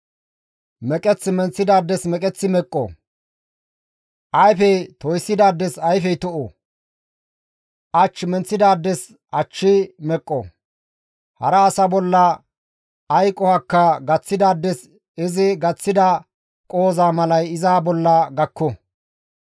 Meqeth menththidaades meqeththi meqqo; ayfe toyssidaades ayfey to7o; ach menththidaades achchi meqqo; hara asa bolla ay qohokka gaththidaades izi gaththida qohoza malay iza bolla gakko.